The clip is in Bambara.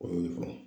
O y'o ye fɔlɔ